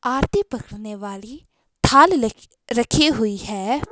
आरती पकड़ने वाली थाल रखी हुई है।